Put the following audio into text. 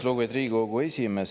Lugupeetud Riigikogu esimees!